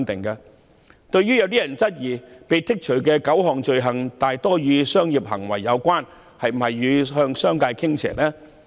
有人質疑，被剔除的9項罪類多數與商業行為有關，當局是否向商界傾斜？